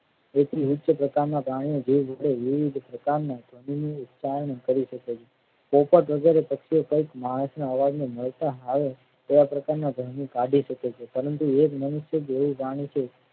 એટલી ઉચ્ચ પ્રકારના પ્રાણીઓ જીભ વડે વિવિધ પ્રકારના કરી શકે છે પોપટ વગેરે પક્ષીઓ કઈક માણસના અવાજ ને મળતા આવે એવા પ્રકારના ભર્મ કાઢી શકે છે પરંતુ એક મનુષ્ય જેવું જાણે છે.